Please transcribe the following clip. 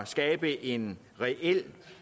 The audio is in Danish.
skabe en reelt